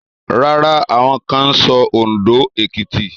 Rárá, àwọn kan ń sọ Òndó, Èkìtì